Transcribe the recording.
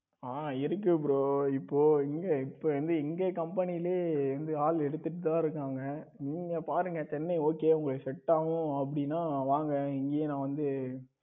இருக்கு bro இப்போ இங்க இப்ப வந்து எங்க company வந்து ஆள் எடுத்துட்டு தான் இருக்காங்க. நீங்க பாருங்க சென்னை okay உங்களுக்கு set ஆகும் அப்படின்னா வாங்க இங்கேயே நா வந்து